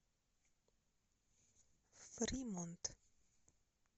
фримонт